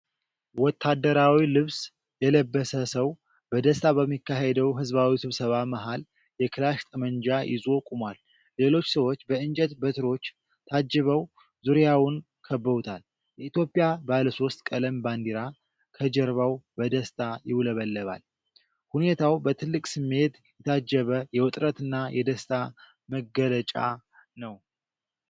ወታደራዊ ልብስ የለበሰ ሰው በደስታ በሚካሄድ ሕዝባዊ ስብስብ መሃል የክላሽ ጠመንጃ ይዞ ቆሟል። ሌሎች ሰዎች በእንጨት በትሮች ታጅበው ዙሪያውን ከበውታል። የኢትዮጵያ ባለሶስት ቀለም ባንዲራ ከጀርባው በደስታ ይውለበለባል። ሁኔታው በትልቅ ስሜት የታጀበ የውጥረትና የደስታ መገለጫ ነው።